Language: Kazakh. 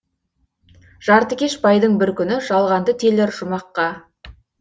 жартыкеш байдың бір күні жалғанды телер жұмаққа